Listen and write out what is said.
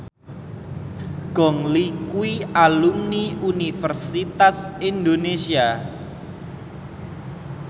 Gong Li kuwi alumni Universitas Indonesia